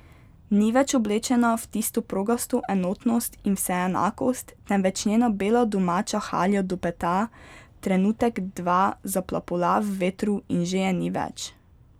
Ni več oblečena v tisto progasto enotnost in vseenakost, temveč njena bela domača halja do peta trenutek dva zaplapola v vetru in že je ni več.